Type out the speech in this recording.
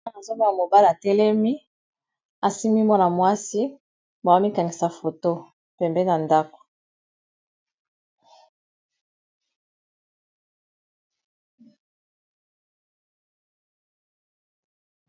maa azobona mobala telemi asimi mwana mwasi bawomikanisa foto pembe na ndako